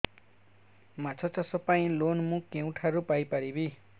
ମାଛ ଚାଷ ପାଇଁ ଲୋନ୍ ମୁଁ କେଉଁଠାରୁ ପାଇପାରିବି